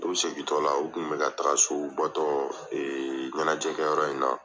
U segin tɔla u kun bɛ ka taga so u bɔ tɔ ɲanajɛ kɛyɔrɔ in na.